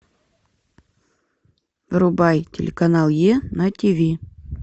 врубай телеканал е на ти ви